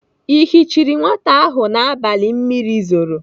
Ị yichiri nwata ahụ n'abalị mmiri zoro?